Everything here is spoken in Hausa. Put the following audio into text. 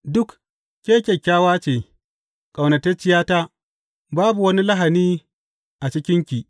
Duk, ke kyakkyawa ce, ƙaunatacciyata; babu wani lahani a cikinki.